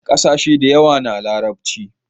kasashe da yawa na larabci